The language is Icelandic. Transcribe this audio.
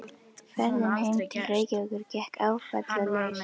Ferðin heim til Reykjavíkur gekk áfallalaust.